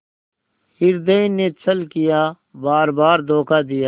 हृदय ने छल किया बारबार धोखा दिया